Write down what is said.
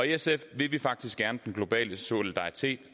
sf vil vi faktisk gerne den globale solidaritet